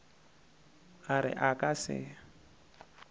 a re a ka se